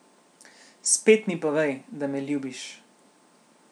Spet mi povej, da me ljubiš.